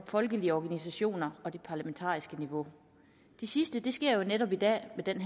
folkelige organisationer og det parlamentariske niveau det sidste sker jo netop i dag med denne